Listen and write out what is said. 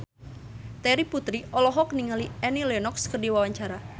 Terry Putri olohok ningali Annie Lenox keur diwawancara